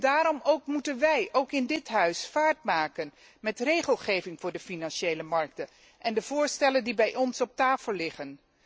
Daarom ook moeten wij, ook in dit Huis, vaart maken met regelgeving voor de financiële markten en de voorstellen die bij ons op tafel liggen.